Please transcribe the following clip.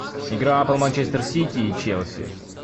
игра апл манчестер сити и челси